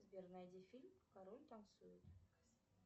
сбер найди фильм король танцует